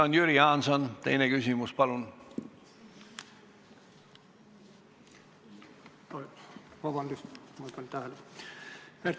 Siis Jüri Jaanson, teine küsimus palun!